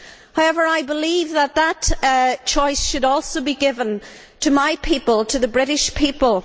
However, I believe that that choice should also be given to my people, the British people.